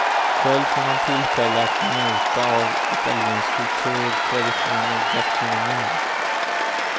Själv får man tillfälle att njuta av italiensk kultur, traditioner och gastronomi.